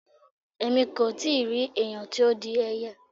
Èmi kò ì tí rí ẹ̀yàn tó di ẹyẹ.